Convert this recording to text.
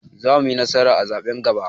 Za muyi nasara a zaɓen gaba